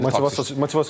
Motivasiyası yoxdur.